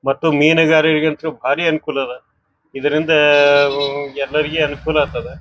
ಮತ್ತು ಮೀನುಗಾರರಿಗೆ ಅಂತ್ಲು ಬಾರಿ ಅನುಕೂಲ ಅದ್ ಇದರಿಂದ ಎಲ್ಲಾರಿಗ ಅನುಕೂಲ ಆತದ್.